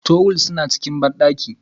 Tuwil suna cikin bandaki.